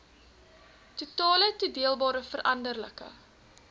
totale toedeelbare veranderlike